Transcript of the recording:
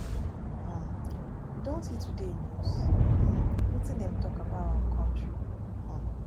um you don see today news um wetin dem talk about our country um